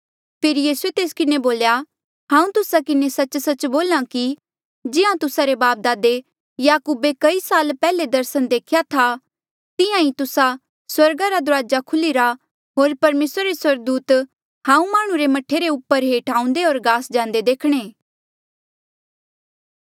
फेरी यीसूए तेस किन्हें बोल्या हांऊँ तुस्सा किन्हें सच्च सच्च बोल्हा कि जिहां तुस्सा रे बापदादे याकूबे कई साल पैहले दर्सन देख्या था तिहां ईं तुस्सा स्वर्गा रा दुराजा खुल्हिरा होर परमेसरा रे स्वर्गदूत हांऊँ माह्णुं रे मह्ठे रे ऊपर हेठ आऊंदे होर गास जांदे देखणे